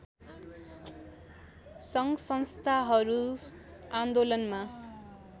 सङ्घसंस्थाहरू आन्दोलनमा